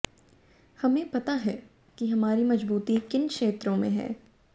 हमें पता है कि हमारी मजबूती किन क्षेत्रों में है